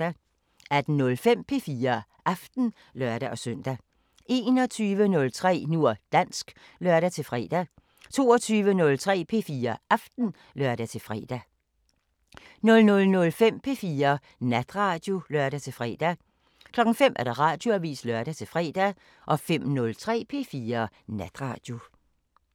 18:05: P4 Aften (lør-søn) 21:03: Nu og dansk (lør-fre) 22:03: P4 Aften (lør-fre) 00:05: P4 Natradio (lør-fre) 05:00: Radioavisen (lør-fre) 05:03: P4 Natradio